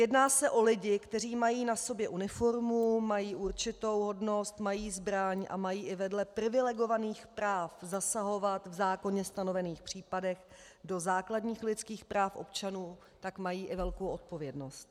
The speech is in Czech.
Jedná se o lidi, kteří mají na sobě uniformu, mají určitou hodnost, mají zbraň a mají i vedle privilegovaných práv zasahovat v zákonem stanovených případech do základních lidských práv občanů, tak mají i velkou odpovědnost.